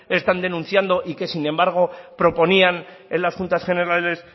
están denunciando y que sin embargo proponían en las juntas generales